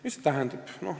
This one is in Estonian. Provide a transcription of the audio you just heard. Mida see tähendab?